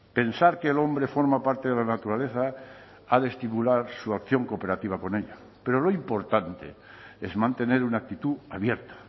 pensar que el hombre forma parte de la naturaleza ha de estimular su acción cooperativa con ella pero lo importante es mantener una actitud abierta